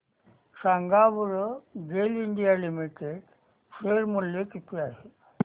सांगा बरं GAIL India limited share मूल्य किती आहे